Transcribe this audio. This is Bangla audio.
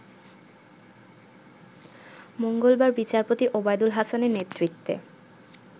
মঙ্গলবার বিচারপতি ওবায়দুল হাসানের নেতৃত্বে